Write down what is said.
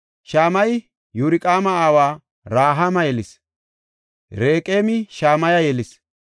Shamayey Yorqa7aama aawa Rahaama yelis. Reqeemi Shamaya yelis.